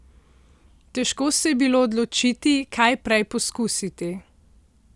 Težko se je bilo odločiti, kaj prej poskusiti!